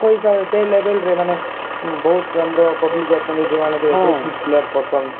ତାଙ୍କ ହିସାବରେ ସେ level ରେ ମାନେ ବହୁତ ଆମର public ଅଛନ୍ତି ଯୋମାନଙ୍କୁ player ପସନ୍ଦ